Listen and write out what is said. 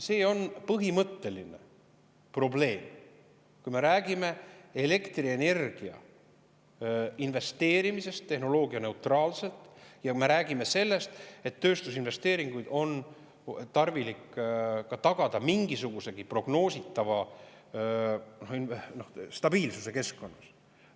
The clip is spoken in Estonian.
See on põhimõtteline probleem, kui me räägime elektrienergiasse investeerimisest tehnoloogianeutraalselt ja räägime sellest, et tööstusinvesteeringuid on tarvilik tagada mingisugusegi prognoositava stabiilsuse keskkonnas.